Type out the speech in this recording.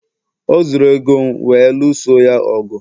o zuru ego m wee lụọso ya ọgụ